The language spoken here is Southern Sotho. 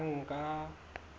banka